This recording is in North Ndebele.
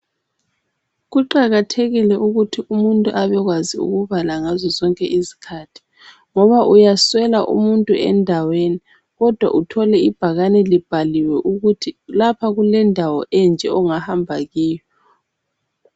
Kuqakathekile ukuthi umuntu abekwazi ukubala ngazo zonke izikhathi, ngoba uyaswela umuntu endaweni kodwa uthole ibhakani libhaliwe ukuthi lapha kulendawo enje ongahamba kiyo.